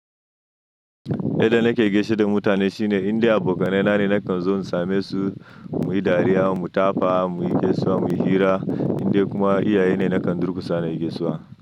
Yadda nake gaishe da mutane shine inda abokanai na ne nakan zo in same su muyi dariya, mu tafa, muyi gaisuwa, muyi hira indai kuma iyaye ne nakan durkusa na yi gaisuwa.